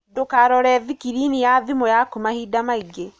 Ndūkarore thikirini ya thimū yaku mahinda maingī.